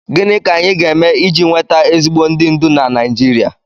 Gịnị ka anyị ga-eme iji nweta ezigbo ndị ndú na Naijiria?